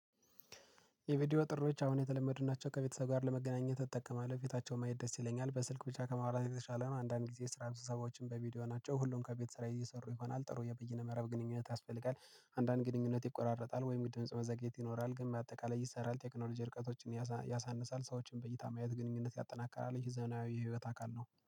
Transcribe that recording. የቪዲዮ ጥሪዎች አሁን የተለመዱናቸው ከቤተሰብ ጋር ለመገናኘት እጠቀማለሁ ፊታቸው ማየት ደስ ይለኛል በስልክ ብቻ ከመዋራት የተሻለ ነው። አንዳንድ ጊዜ ስራ ቢበዛባቸውም በቪዲዮ ናቸው ሁሉም ከቤት ስራ እየሰሩ ይሆናል። ጥሩ የበይነ መረብ ግንኙነት ያስፈልጋል። አንዳንድ ግንኙነት ይቆራረጣል ወይም የድምጽ መዘግየት ይኖራል ግን በአጠቃላይ ይሰራል። ቴክኖሎጂ። ያሳንሳል ሰዎችን በይታ ማየት ግንኙነት ያጠናካላል። ይሄ ዘናዊ የህይወት አካል ነው